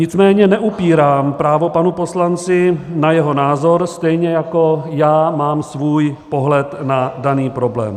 Nicméně neupírám právo panu poslanci na jeho názor, stejně jako já mám svůj pohled na daný problém.